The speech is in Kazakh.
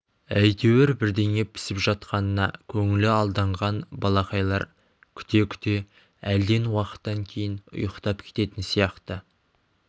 әйтеуір бірдеңе пісіп жатқанына көңілі алданған балақайлар күте-күте әлден уақыттан кейін ұйықтап кететін сияқты